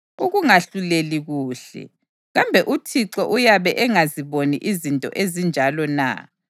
ukungahluleli kuhle, kambe uThixo uyabe engaziboni izinto ezinjalo na?